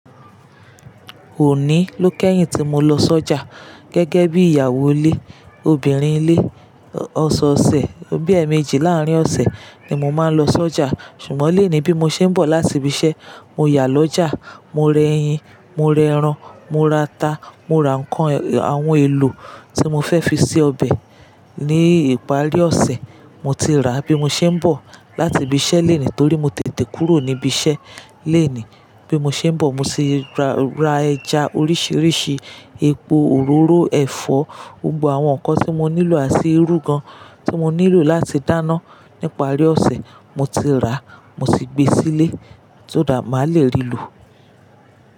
Òní ló kẹ́yìn tí mo lọ sọ́jà gẹ́gẹ́ bí ìyàwó ilé, obìnrin ilé. Ọ̀sọ̀ọ̀sẹ̀, bí i ẹẹ̀mejì láárín ọ̀sẹ̀ ni mo máa ń lọ sọ́jà. Ṣùgbọ́n lónìí bí mo ṣe ń bọ̀ láti ibi iṣẹ́, mo yà lọ́jà, mo rẹ ẹyin, mo rẹ ẹran, mo ra ata, mo ra nǹkan, àwọn èlò tí mo fẹ́ fi ṣe ọbẹ̀ ní ìparí ọ̀sẹ̀, mo ti rà bí mo ṣe ń bọ̀ láti ibi iṣẹ́ lónìí torí mo tètè kúrò níbi iṣẹ́ lónìí. Bí mo ṣe ń bọ̀, mo ti ra, ra ẹja oríṣìíríṣìí, epo òróró ẹ̀fọ́, gbogbo àwọn nǹkan tí mo nílò àti irú gan-an tí mo nílò láti dáná nípárí ọ̀sẹ̀, mo ti rà, mo ti gbé sílé só that maá lè rí lò.